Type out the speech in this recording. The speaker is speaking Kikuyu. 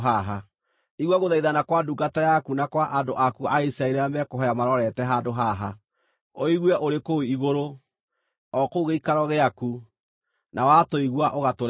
Igua gũthaithana kwa ndungata yaku na kwa andũ aku a Isiraeli rĩrĩa mekũhooya marorete handũ haha. Ũigue ũrĩ kũu igũrũ, o kũu gĩikaro gĩaku, na watũigua ũgatũrekera.